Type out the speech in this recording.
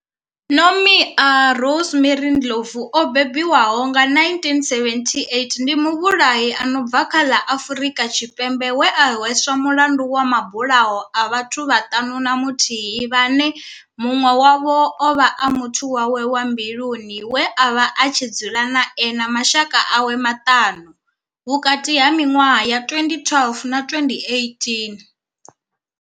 Nomia Rosemary Ndlovu o bebiwaho nga, 1978, ndi muvhulahi a no bva kha ḽa Afrika Tshipembe we a hweswa mulandu wa mabulayo a vhathu vhaṱanu na muthihi vhane munwe wavho ovha a muthu wawe wa mbiluni we avha a tshi dzula nae na mashaka awe maṱanu, vhukati ha minwaha ya 2012 na 2018.